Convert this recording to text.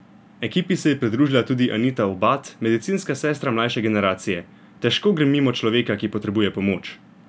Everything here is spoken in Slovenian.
Ekipi se je pridružila tudi Anita Obad, medicinska sestra mlajše generacije: "Težko grem mimo človeka, ki potrebuje pomoč.